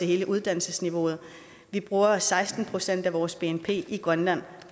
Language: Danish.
hele uddannelsesniveauet vi bruger seksten procent af vores bnp i grønland